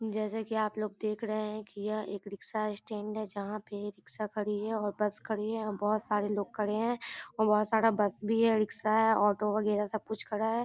जैसा की आप लोग देख रहे है की यह एक रिक्सा स्टैंड है जहाँ पे रिक्सा खड़ी है और बस खड़ी है और बहुत सारे लोग खड़े है और बहुत सारा बस भी है रिक्सा है ऑटो वगेरा सब कुछ खड़ा है ।